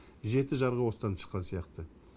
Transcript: жеті жарғы осыдан шыққан сияқты